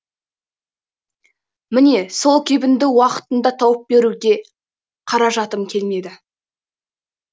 міне сол кебінді уақытында тауып беруге қаражатым келмеді